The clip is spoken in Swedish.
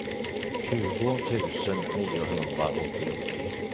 tjugo tusen niohundraåttiotre